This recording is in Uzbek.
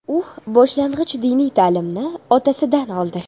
U boshlang‘ich diniy ta’limni otasidan oldi.